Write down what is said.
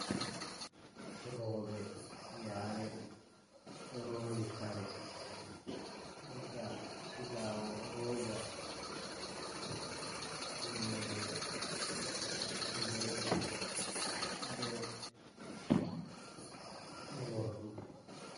Roɓe, yare ɗo rondi kare diga silawo, rooba, tummude mbeɗu be u nordu.